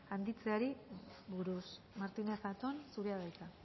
handitzeari buruz martínez zatón zurea da hitza